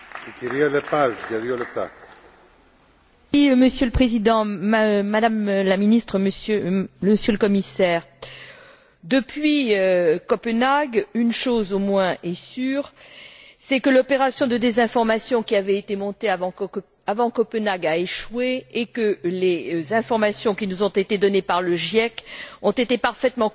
Monsieur le Président, Madame la Ministre, Madame la Commissaire, depuis Copenhague, une chose au moins est sûre, c'est que l'opération de désinformation qui avait été montée avant Copenhague a échoué et que les informations qui nous ont été données par le GIEC ont été parfaitement confirmées par toutes les expertises menées par l'ONU.